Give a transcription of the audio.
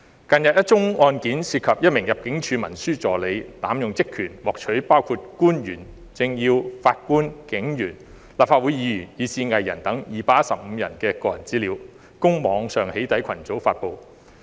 近日一宗案件涉及一名入境事務處文書助理濫用職權，獲取包括官員、政要、法官、警員、立法會議員，以至藝人等215人的個人資料，供網上"起底"群組發布。